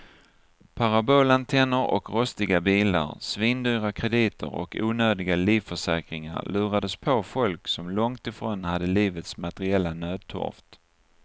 Parabolantenner och rostiga bilar, svindyra krediter och onödiga livförsäkringar lurades på folk som långt ifrån hade livets materiella nödtorft.